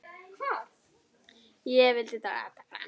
Ég vildi draga þetta fram.